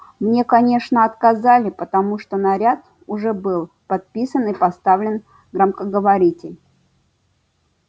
мне конечно отказали потому что наряд уже был подписан и поставлен громкоговоритель